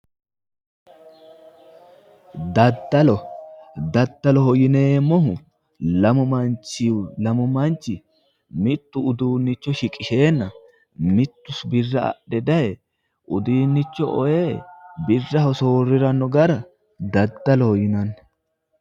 Daddalo daddaloho yineemmohu lamu manchi mittu uduunnicho shiqisheenna mittu birra adhe daye udiinnicho ee birraho soorriranno gara daddaloho yinanni